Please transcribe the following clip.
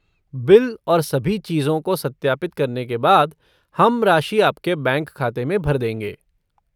Bill और सभी चीजों को सत्यापित करने के बाद, हम राशि आपके बैंक खाते में भर देंगे।